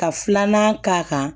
Ka filanan k'a kan